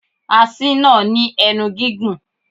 Asín náà ní ẹnu gígùn.